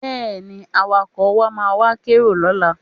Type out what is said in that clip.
Bẹ́ẹ̀ni, Awakọ̀ wa máa wá kérò lọ́la